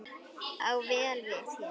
á vel við hér.